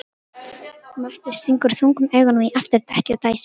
Matti stingur þungum augunum í afturdekkið og dæsir.